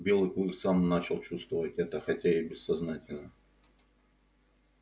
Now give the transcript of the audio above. белый клык сам начал чувствовать это хотя и бессознательно